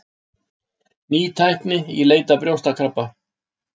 Ný tækni í leit að brjóstakrabba